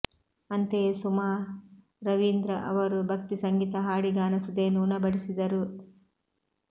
ಅಂತೆಯೇ ಸುಮಾ ರವೀಂದ್ರ ಅವರು ಭಕ್ತಿ ಸಂಗೀತ ಹಾಡಿ ಗಾನಸುಧೆಯನ್ನು ಉಣಬಡಿಸಿದರು